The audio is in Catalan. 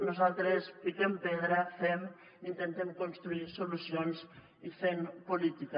nosaltres piquem pedra fem intentem construir solucions i fem política